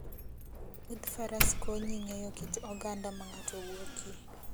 Wuodh faras konyi ng'eyo kit oganda ma ng'ato wuokie